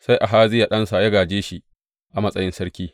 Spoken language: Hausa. Sai Ahaziya ɗansa ya gāje shi a matsayin sarki.